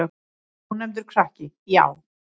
Ónefndur krakki: Já.